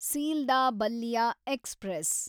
Sealdah Ballia express